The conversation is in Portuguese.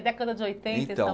década de oitenta